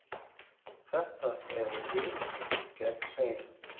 Þetta eru við gegn þeim.